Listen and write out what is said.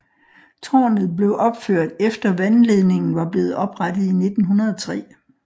Tårnet blev opført efter vandledningen var blevet oprettet i 1903